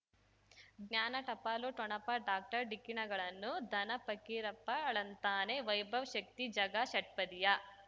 ಜ್ಞಾನ ಟಪಾಲು ಠೊಣಪ ಡಾಕ್ಟರ್ ಢಿಕ್ಕಿ ಣಗಳನು ಧನ ಫಕೀರಪ್ಪ ಳಂತಾನೆ ವೈಭವ್ ಶಕ್ತಿ ಝಗಾ ಷಟ್ಪದಿಯ